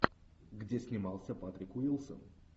где снимался патрик уилсон